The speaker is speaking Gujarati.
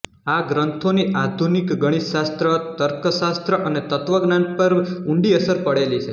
આ ગ્રંથોની આધુનિક ગણિતશાસ્ત્ર તર્કશાસ્ત્ર અને તત્ત્વજ્ઞાન પર ઊંડી અસર પડેલી છે